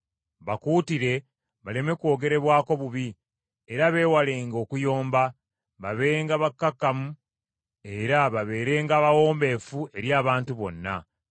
Bakuutire baleme kwogerebwako bubi, era beewalenga okuyomba, babenga bakkakkamu era babeerenga bawombeefu eri abantu bonna.